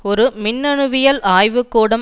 ஒரு மின்னணுவியல் ஆய்வு கூடம்